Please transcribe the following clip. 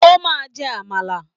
O máa jẹ Àmàlà!